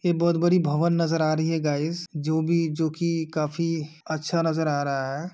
यह बहुत बड़ी भवन नजर आ रही है गाईज जो भी जोकि काफी अच्छा नजर आ रहा है।